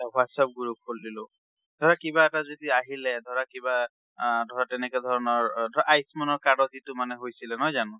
এটা WhatsApp group খুলি দিলো। ধৰা কিবা এটা যদি আহিলে, ধৰা কিবা আ ধৰা তেনেকা ধৰনৰ আ ধৰা আয়ুষ্মান card ৰ যিটো মানে হৈছিলে, নহয় জানো।